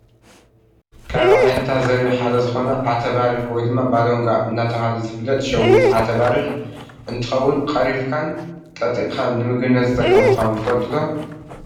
ካብ ዓይነታት ዘርኢ ሓደ ዝኮነ ዓተባሪሕ /ባሎንጋ/ እንዳተባሃለ ዝፍለጥ ሸዊት ዓተባሪሕ እንትከውን ቀሪፍካን ጠጢካን ንምግብነት ዝጠቅም ምኳኑ ትፈልጡ ዶ ?